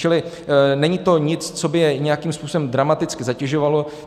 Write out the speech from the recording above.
Čili není to nic, co by je nějakým způsobem dramaticky zatěžovalo.